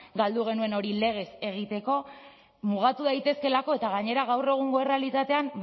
galdu genuen hori legez egiteko mugatu daitezkeelako eta gainera gaur egungo errealitatean